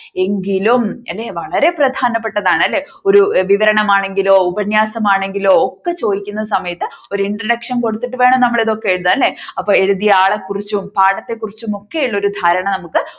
എങ്കിലും അല്ലേ വളരെ പ്രധാനപ്പെട്ടതാണ് അല്ലേ വളരെ വളരെ പ്രധാനപ്പെട്ടതാണ് അല്ലേ ഒരു വിവരണം ആണെങ്കിലോ ഉപന്യാസം ആണെങ്കിലോ ഒക്കെ ചോദിക്കുന്ന സമയത്ത് ഒരു introduction കൊടുത്തിട്ട് വേണം നമ്മൾ ഇതൊക്കെ എഴുതാൻ അല്ലേ അപ്പ എഴുതിയ ആളെ കുറിച്ചും പാടത്തെക്കുറിച്ചും ഒക്കെ ഉള്ള ഒരു ധാരണ നമുക്ക്